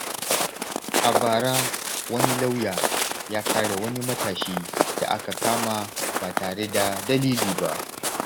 A bara, wani lauya ya kare wani matashi da aka kama ba tare da dalili ba.